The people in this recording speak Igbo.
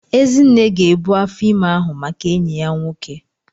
Ezinne ga ebu afọ ime ahụ maka enyi ya nwoke.